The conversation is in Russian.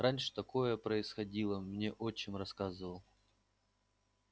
раньше такое происходило мне отчим рассказывал